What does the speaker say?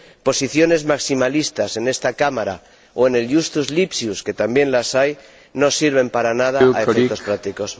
Posiciones maximalistas en esta Cámara o en el Justus Lipsius, que también las hay, no sirven para nada a efectos prácticos.